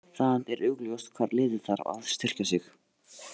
Það er augljóst hvar liðið þarf að styrkja sig.